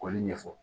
K'olu ɲɛfɔ